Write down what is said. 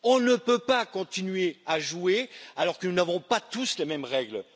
On ne peut pas continuer à jouer alors que nous n'avons pas tous les mêmes règles.